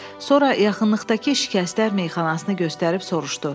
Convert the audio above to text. Sonra yaxınlıqdakı şikəstlər meyaxanasını göstərib soruşdu.